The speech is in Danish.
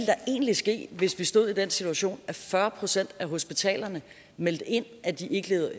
så egentlig ske hvis vi stod i den situation at kun fyrre procent af hospitalerne meldte ind at de ikke levede